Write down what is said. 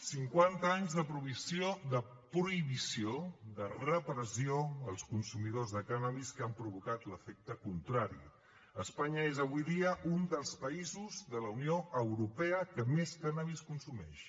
cinquanta anys de prohibició de repressió als consumidors de cànnabis que han provocat l’efecte contrari espanya és avui dia un dels països de la unió europea que més cànnabis consumeix